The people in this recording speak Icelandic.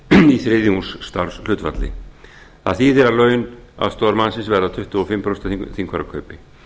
í þriðjungs starfshlutfalli það þýðir að laun aðstoðarmannsins verða tuttugu og fimm prósent af þingfararkaupi